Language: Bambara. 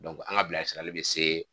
an ka bila sirali be se